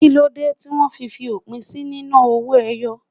Kíló dé tí wó fi fi òpin sí nínà owó ẹyọ?